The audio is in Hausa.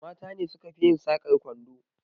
Mata ne suka fi yin sakar kwando